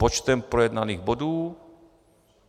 Počtem projednaných bodů?